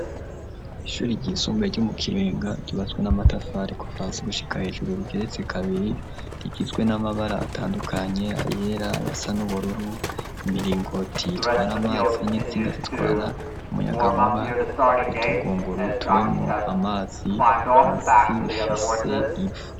Ishuri r'isumbuye ry'omu kirenga ryubatswe n'amatafa ri ku faransi gushika hejuru rigeretse kabiri rigizwe n'amabara atandukanye ayera yasa n'ubururu imiringo tiyitwara amazi n'insinga zitwara umuyaga nkuba utugunguru turimo amazi pansi ifise ipfu.